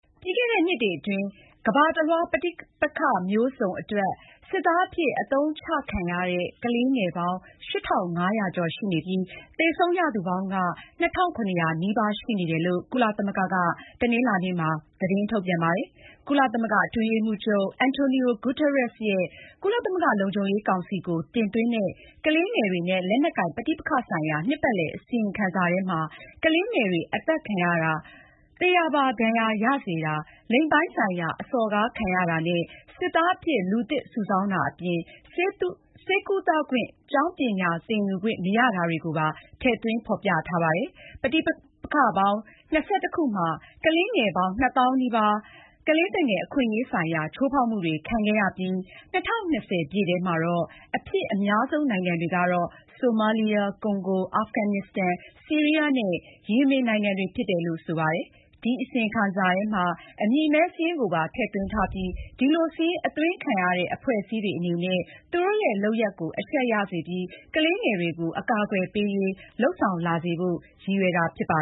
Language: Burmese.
ပြီးခဲ့တဲ့နှစ်အတွင်း ကမ္ဘာတလွှား ပဋိပက္ခမျိုးစုံ အတွက် စစ်သားအဖြစ်အသုံးချခံရတဲ့ ကလေးငယ်ပေါင်း ၈၅၀၀ ကျော်ရှိနေပြီး သေဆုံးရသူပေါင်းက ၂၇၀၀ နီးပါး ရှိနေတယ်လို့ ကုလသမဂ္ဂက တနင်္လာနေ့မှာ သတင်းထုတ်ပြန်ပါတယ်။ ကုလအတွင်းရေးမှုးချုပ် Antonio Guterres ရဲ့ ကုလသမဂ္ဂလုံခြုံရေးကောင်စီကို တင်သွင်းတဲ့ ကလေးငယ်တွေနဲ့ လက်နက်ကိုင်ပဋိပက္ခ ဆိုင်ရာ နှစ်ပတ်လည် အစီရင်ခံစာ ထဲမှာ ကလေးငယ်တွေအသတ်ခံရတာ၊ သေရာပါဒဏ်ရာရစေတာ၊ လိင်ပိုင်းဆိုင်ရာ အစော်ကားခံရတာနဲ့ စစ်သားအဖြစ် လူသစ်စုဆောင်းတာ အပြင် ဆေးကုသခွင့် ကျောင်းပညာသင်ယူခွင့် မရတာတွေကိုပါ ထည့်သွင်း ဖေါ်ပြထားပါတယ်။ ပဋိပက္ခပေါင်း ၂၁ ခုမှာ ကလေးငယ်ပေါင်း ၂ သောင်းနီးပါး ကလေးသူငယ်အခွင့်ရေးဆိုင်ရာ ချိုးဖေါက်မှုတွေ ခံခဲ့ရပြီး ၂၀၂၀ ထဲမှာ အဖြစ်အများဆုံး နိုင်ငံတွေကတော့ ဆိုမာလီယာ၊ ကွန်ဂို၊ အာဖဂန်နစ်စတန်၊ ဆီးရီးယားနဲ့ ယီမင်နိုင်ငံတွေ ဖြစ်တယ်လို့ ဆိုပါတယ်။ ဒီအစီရင်ခံစာထဲမှာ အမည်မည်းစားရင်း ကိုပါ ထည့်သွင်းထားပြီး ဒီလိုစာရင်းအသွင်းခံရတဲ့ အဖွဲ့အစည်းတွေ အနေနဲ့ သူတို့ရဲ့ လုပ်ရပ်ကိုအရှက်ရပြီး ကလေးငယ်တွေကို အကာကွယ်ပေးရေး လုပ်ဆောင်လာစေဖို့ ရည်ရွယ်တာ ဖြစ်ပါ